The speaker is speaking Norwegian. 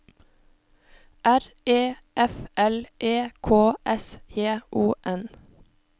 R E F L E K S J O N